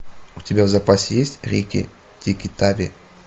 у тебя в запасе есть рикки тикки тави